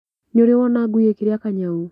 Nĩũrĩ wona ngui ĩkĩria kanyau?